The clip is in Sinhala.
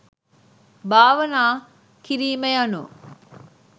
භාවනා කිරීම යනු